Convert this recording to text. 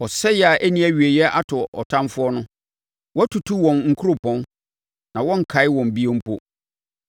Ɔsɛeɛ a ɛnni awieeɛ ato ɔtamfoɔ no, woatutu wɔn nkuropɔn; na wɔnnkae wɔn bio mpo.